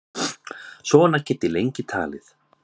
Svona get ég lengi talið.